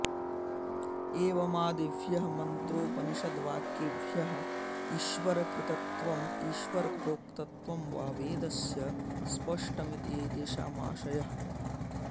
एवमादिभ्यः मन्त्रोपनिषद्वाक्येभ्यः ईश्वरकृतत्वम् ईश्वरप्रोक्तत्वं वा वेदस्य स्पष्टमिति एतेषामाशयः